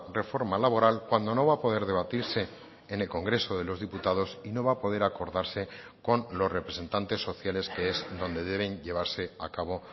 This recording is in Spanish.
reforma laboral cuando no va a poder debatirse en el congreso de los diputados y no va a poder acordarse con los representantes sociales que es donde deben llevarse a cabo